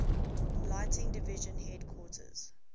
lighting division headquarters